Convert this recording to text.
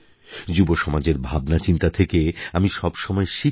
যুবসমাজের ভাবনাচিন্তা থেকে আমি সবসময় শিখি